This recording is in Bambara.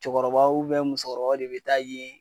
Cɛkɔrɔbaw musokɔrɔbaw de be taa yen